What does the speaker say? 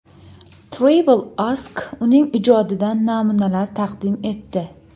Travel Ask uning ijodidan namunalar taqdim etdi.